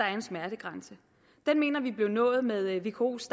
er en smertegrænse den mener vi blev nået med vkos